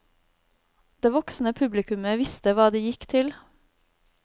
Det voksne publikummet visste hva de gikk til.